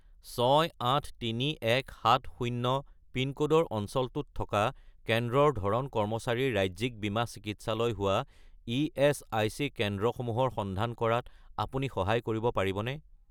683170 পিনক'ডৰ অঞ্চলটোত থকা কেন্দ্ৰৰ ধৰণ কৰ্মচাৰীৰ ৰাজ্যিক বীমা চিকিৎসালয় হোৱা ইএচআইচি কেন্দ্ৰসমূহৰ সন্ধান কৰাত আপুনি সহায় কৰিব পাৰিবনে?